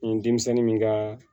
Ni denmisɛnnin min ka